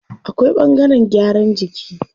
Akwai ɓangaren gyaran jiki.